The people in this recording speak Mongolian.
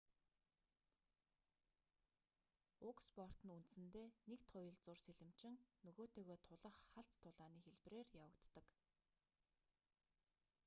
уг спорт нь үндсэндээ нэг туялзуур сэлэмчин нөгөөтэйгөө тулах халз тулааны хэлбэрээр явагддаг